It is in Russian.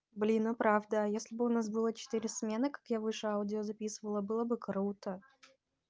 блин ну правда если бы у нас было четыре смены как я выше аудио записала было бы круто